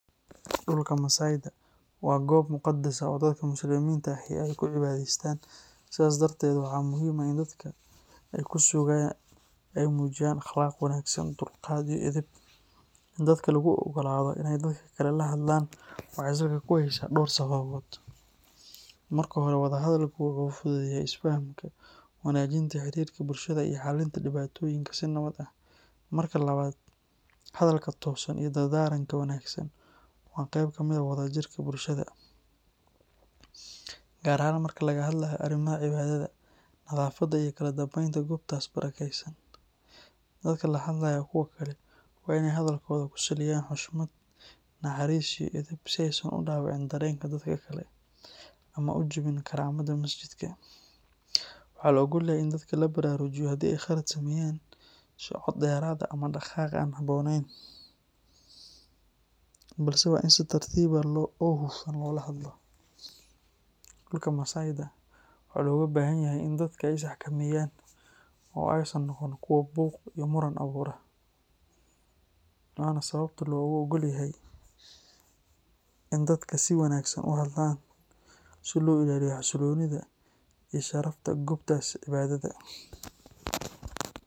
Dhulka masaydha waa goob muqadas ah oo dadka Muslimiinta ahi ay ku cibaadaystaan, sidaas darteed waxaa muhiim ah in dadka ku sugan ay muujiyaan akhlaaq wanaagsan, dulqaad, iyo edeb. In dadka lagu oggolaado inay dadka kale la hadlaan waxay salka ku haysaa dhowr sababood. Marka hore, wada hadalku wuxuu fududeeyaa isfahamka, wanaajinta xiriirka bulshada, iyo xallinta dhibaatooyinka si nabad ah. Marka labaad, hadalka toosan iyo dardaaranka wanaagsan waa qayb ka mid ah wada jirka bulshada, gaar ahaan marka laga hadlayo arrimaha cibaadada, nadaafadda, iyo kala dambeynta goobtaas barakaysan. Dadka la hadlaya kuwa kale waa in ay hadalkooda ku saleeyaan xushmad, naxariis, iyo edeb si aysan u dhaawicin dareenka dadka kale ama u jabin karaamada masjidka. Waxaa la oggol yahay in dadka la baraarujiyo haddii ay khalad sameeyaan, sida cod dheeraad ah ama dhaqaaq aan habboonayn, balse waa in si tartiib ah oo hufan loola hadlaa. Dhulka masaydha waxaa looga baahan yahay in dadka ay isxakameeyaan oo aysan noqon kuwo buuq iyo muran abuura, waana sababta loogu oggol yahay in dadka si wanaagsan u hadlaan si loo ilaaliyo xasilloonida iyo sharafta goobtaas cibaadada.